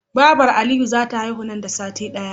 Babar aliyu zata haihu nan da sati daya